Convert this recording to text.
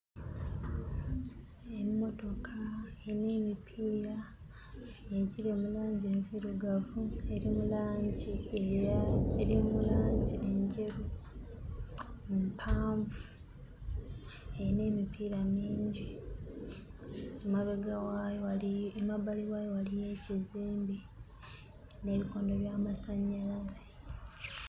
Emmotoka erina emipiira egiri mu langi enzirugavu, eri mu eya eri mu langi enjeru, mpanvu, erina emipiira mingi. Emabega waayo waliyo emabbali waayo waliyo ekizimbe n'ebikondo by'amasannyalaze.